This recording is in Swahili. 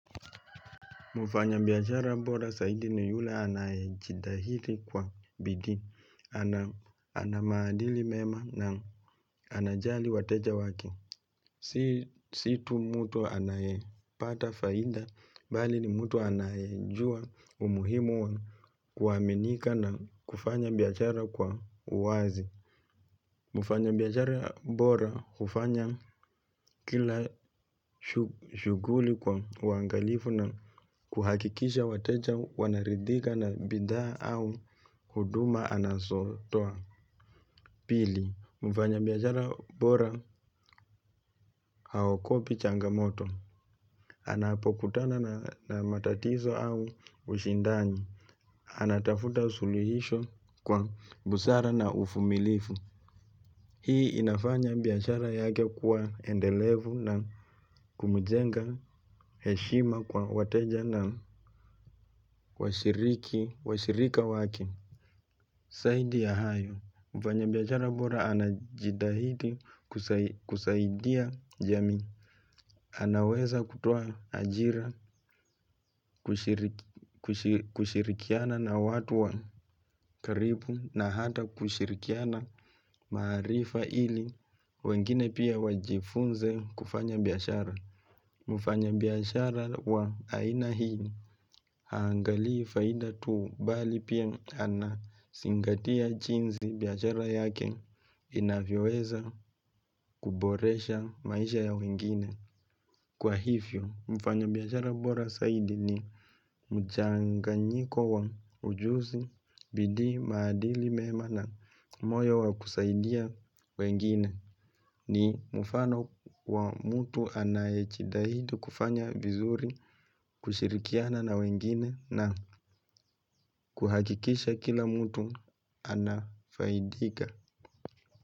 Mfanya biashara bora zaidi ni yule anaye jitaidi kwa bidii. Ana maadili mema na anajali wateja wake. Si tu mtu anayepata faida, bali ni mtu anayejua umuhimu wa kuaminika na kufanya biashara kwa wazi. Mfanya biashara bora, hufanya kila shuguli kwa uangalifu na kuhakikisha wateja wanaridhika na bidhaa au huduma anazotoa. Pili, mfanya biashara bora haogopi changamoto. Anapokutana na matatizo au ushindani. Anatafuta usuluhisho kwa busara na uvumilivu. Hii, inafanya biashara yake kuwa endelevu na kumjenga heshima kwa wateja na washiriki, washirika waki. Zaidi ya hayo, mfanya biashara bora anajitahidi kusaidia jamii. Anaweza kutoa ajira, kushirikiana na watu wa karibu na hata kushirikiana maarifa ili wengine pia wajifunze kufanya biashara. Mufanya biashara wa aina hii, haangalii faida tu bali pia ana zingatia jinsi biashara yake inavyoweza kuboresha maisha ya wengine. Kwa hivyo, mfanya biashara bora zaidi ni mchanganyiko wa ujuzi, bidii, maadili mema na moyo wa kusaidia wengine. Ni mfano wa mtu anayejidaidi kufanya vizuri, kushirikiana na wengine na kuhakikisha kila mtu anafaidika.